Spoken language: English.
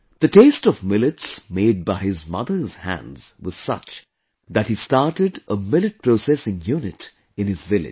The taste of millets made by his mother's hands was such that he started a millet processing unit in his village